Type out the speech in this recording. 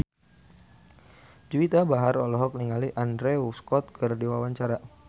Juwita Bahar olohok ningali Andrew Scott keur diwawancara